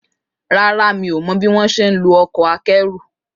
Rárá, mi ò mọ̀ bíwónṣe ń lo ọkọ̀ akẹ́rù